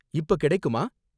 இப்ப கிடைக்குமா?